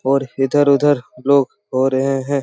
और इधर-उधर लोग हो रहे हैं ।